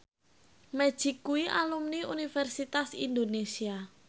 Magic kuwi alumni Universitas Indonesia